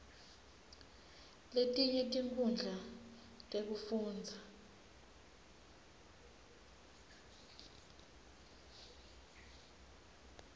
letinye tinkhundla tekufundza